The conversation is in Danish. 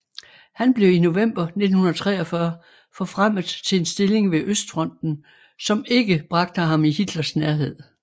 Han blev i november 1943 forfremmet til en stilling ved Østfronten som ikke bragte ham i Hitlers nærhed